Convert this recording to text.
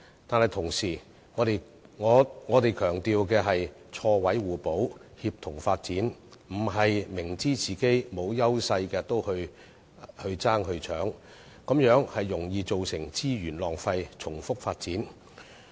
但同時，我們強調的是錯位互補，協同發展，而不是明知自己沒有優勢也進行競爭，這樣容易造成資源浪費、重複發展。